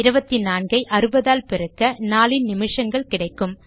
24 ஐ 60 ஆல் பெருக்க நாளின் நிமிஷங்கள் கிடைக்கும்